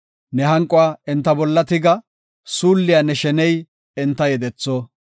Ne hanquwa enta bolla tiga; suulliya ne sheney enta yedetho.